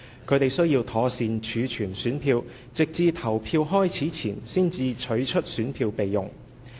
他們須妥善儲存選票，直至投票開始前才取出選票備用。